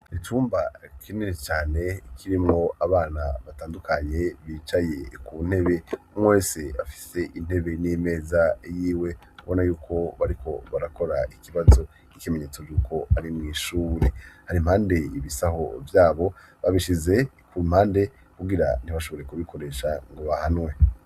icumba kinini cane kiri mwo abana batandukanye bicaye ku ntebe. umwe wese afise intebe n'imeza y'iwe. ubona yuko bariko barakora ikibazo c'ikimenyetso yuko ari mw'ishure. hari impande ibisaho vyabo, babishize ku mpande kubwira ntibashobore kubikoresha ngo bahanwe.